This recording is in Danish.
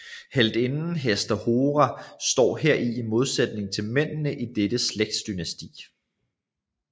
Heltinden Hester Hora står heri i modsætning til mændene i dette slægtsdynasti